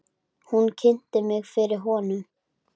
Hún kynnti mig fyrir honum.